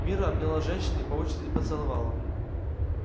мирра обняла женщин и по очереди поцеловала